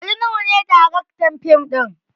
Ali nuhu ne daraktar fim ɗin